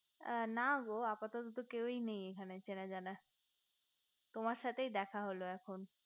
না গো আপাতত কেউই নেই এখানে চেনাজানা তোমার সাথেই দেখা হলো এখন